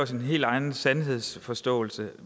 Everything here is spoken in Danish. sin helt egen sandhedsforståelse